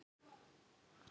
En svona fór þetta bara.